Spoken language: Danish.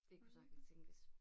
Det kunne sagtens tænkes